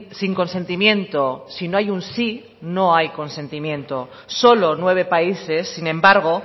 sin consentimiento si no hay un sí no hay consentimiento solo nueve países sin embargo